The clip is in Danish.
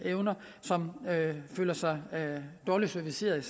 som føler sig dårligt serviceret